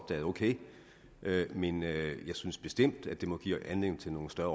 det er ok men jeg synes bestemt det må give anledning til nogle større